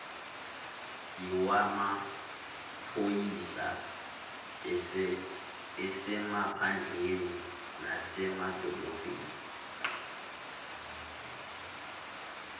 lwamaphoyisa asemaphandleni nasemadolobheni